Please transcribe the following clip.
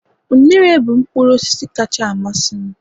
unere bụ mkpụrụ osisi kacha amasị m